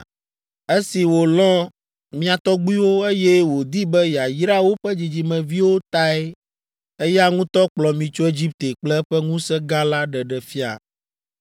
“Esi wòlɔ̃ mia tɔgbuiwo, eye wòdi be yeayra woƒe dzidzimeviwo tae eya ŋutɔ kplɔ mi tso Egipte kple eƒe ŋusẽ gã la ɖeɖe fia.